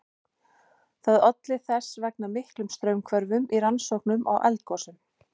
Það olli þess vegna miklum straumhvörfum í rannsóknum á eldgosum.